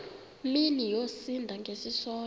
mini yosinda ngesisodwa